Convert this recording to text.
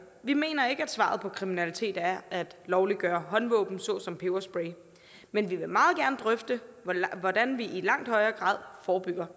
vi mener ikke at svaret på kriminalitet er at lovliggøre håndvåben såsom peberspray men vi vil meget gerne drøfte hvordan vi i langt højere grad forebygger